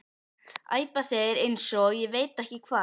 æpa þeir eins og ég veit ekki hvað.